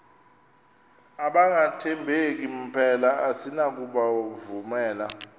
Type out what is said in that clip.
abangathembeki mpela asinakubovumela